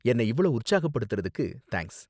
என்ன இவ்ளோ உற்சாகப்படுத்தறதுக்கு தேங்க்ஸ்.